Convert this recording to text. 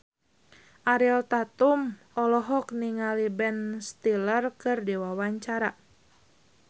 Ariel Tatum olohok ningali Ben Stiller keur diwawancara